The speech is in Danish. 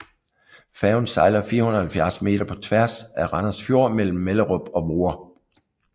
Færgen sejler 470 meter på tværs af Randers Fjord mellem Mellerup og Voer